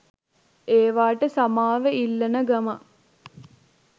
ඒවට සමාව ඉල්ලන ගමන්